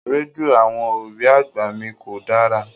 Rédíò àwọn òbí àgbà mi kò dára.